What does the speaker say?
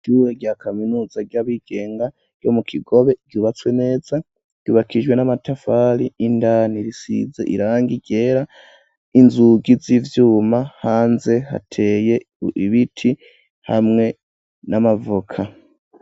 Ishure rya kaminuza ry'abigenga ryo mu Kigobe ryubatswe neza ryubakishijwe n'amatafari indani risize irangi ryera inzugi z'ivyuma hanze hateye ibiti hamwe n'amavoka